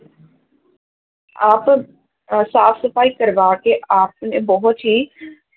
ਆਪ ਅਹ ਸਾਫ਼ ਸਫ਼ਾਈ ਕਰਵਾ ਕੇ ਆਪ ਨੇ ਬਹੁਤ ਹੀ